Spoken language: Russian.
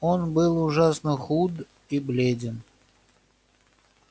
он был ужасно худ и бледен